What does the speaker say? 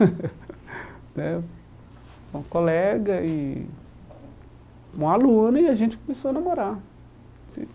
Né Uma colega, e uma aluna, e a gente começou a namorar.